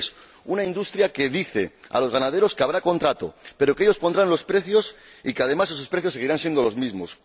El tercero, una industria que dice a los ganaderos que habrá contrato, pero que ellos pondrán los precios y que, además, esos precios seguirán siendo los mismos.